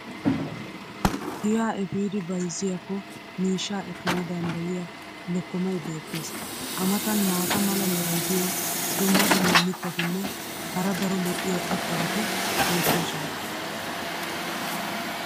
Giyaa efiidi bayzziyaakko miishshaa ekkana danddayiyaa lokkomay beetees. a matan maata mala meray diyo dumma dumma mitatinne hara daro lo'iya irxxabati beetoosona.